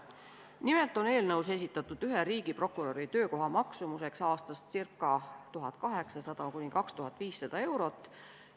Nimelt on eelnõus esitatud ühe riigiprokuröri töökoha maksumuseks aastas 1800–2500 eurot.